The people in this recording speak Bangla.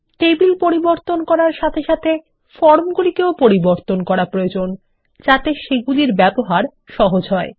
টেবিল পরিবর্তন করার সাথে সাথে ফর্ম গুলিকেও পরিবর্তন করা প্রয়োজন যাতে সেগুলির ব্যবহার সহজ হয়